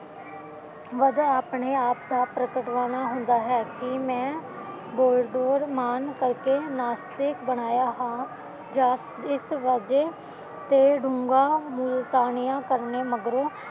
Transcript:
ਵਜ੍ਹਾ ਆਪਣੇ ਆਪ ਦਾ ਪ੍ਰਗਟਾਵਾ ਹੁੰਦਾ ਹੈ ਕਿ ਮੈਂ ਵਾਗਡੋਰ ਮਾਨ ਕਰਕੇ ਨਾਸਥਿਕ ਬਣਾਇਆ ਹਾਂ ਜਾ ਇਸ ਵੱਜੇ ਤੇ ਡੂੰਘਾ ਮੁਲਤਾਨੀਆਂ ਕਰਨ ਮਗਰੋਂ